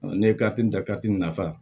Ne ye ta nafa